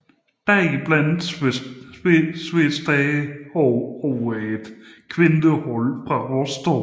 Deriblandt Svesda Svenigorod og et kvindehold fra Rostov